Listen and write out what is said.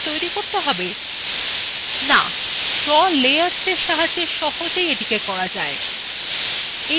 no draw layers এর সাহায্যে the সহজেই করা যায়